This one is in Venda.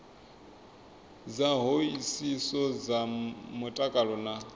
dza hoisiso dza mutakalo na